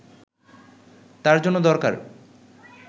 তার জন্য দরকার